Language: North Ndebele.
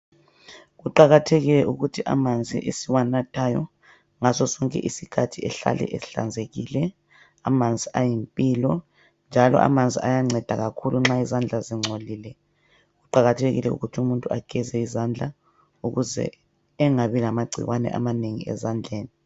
Kuqakathekile ukuthi amanzi esiwanathayo ngaso sonke isikhathi ehlale ehlanzekile. Amanzi ayimpilo njalo amanzi ayanceda kakhulu nxa izandla zingcolile, kuqakathekile ukuthi umuntu ageze izandla ukuze engabi lamagcikwane amanengi ezandleni.